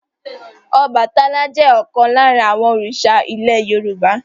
Ọbàtálá jẹ́ ọ̀kan lára àwọn òrìṣà ilẹ̀ Yorùbá.